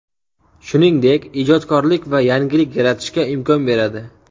Shuningdek, ijodkorlik va yangilik yaratishga imkon beradi.